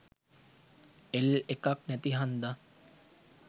L එකක් නැති හන්ද